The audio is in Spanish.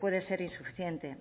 puede ser insuficiente